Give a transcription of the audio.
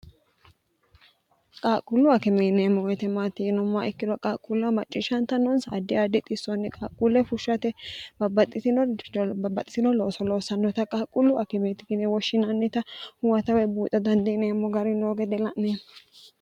qaaqqullu akimeeniemmo yitemaatiinommaa ikkirra qaaqquulla macciishshantannoonsa addi adi xissoonni qaaqquulle fushshate bbbxxinobabbaxxitino looso loossannota qaaqqullu akimeeti kine woshshinaannita huwatawe buuxa dandiineemmo gari noo gede la'ne